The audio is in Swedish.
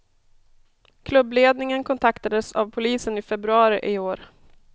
Klubbledningen kontaktades av polisen i februari i år.